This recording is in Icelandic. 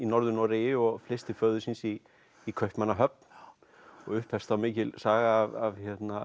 í Norður Noregi og flyst til föður síns í í Kaupmannahöfn og upphefst þá mikil saga af